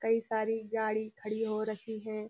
कई सारी गाढ़ी खड़ी हो रक्खी हैं।